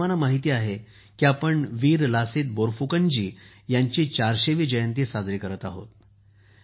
तुम्हा सर्वांना माहीत आहे की आपण वीर लसीत बोरफुकन जी यांची ४०० वी जयंती साजरी करत आहोत